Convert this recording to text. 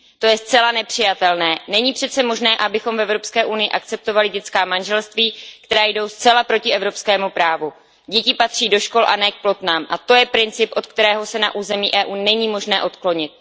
To je zcela nepřijatelné, není přece možné, abychom v EU akceptovali dětská manželství, která jdou zcela proti evropskému právu. Děti patří do škol a ne k plotnám a to je princip, od kterého se na území EU není možné odklonit.